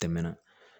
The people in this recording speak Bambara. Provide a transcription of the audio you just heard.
Tɛmɛna